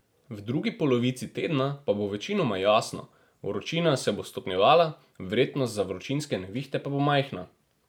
V drugi polovici tedna pa bo večinoma jasno, vročina se bo stopnjevala, verjetnost za vročinske nevihte pa bo majhna.